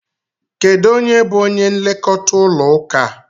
Kedụ onye bu onye nlekọta ụlọ ụka?